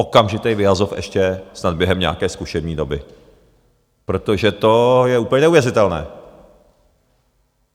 Okamžitý vyhazov ještě snad během nějaké zkušební doby, protože to je úplně neuvěřitelné.